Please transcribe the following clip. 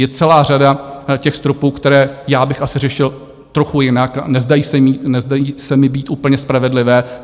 Je celá řada těch stropů, které já bych asi řešil trochu jinak, nezdají se mi být úplně spravedlivé.